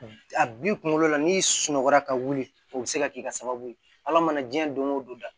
A bi kunkolo la n'i sunɔgɔla ka wuli o be se ka k'i ka sababu ye ala mana diɲɛ don o don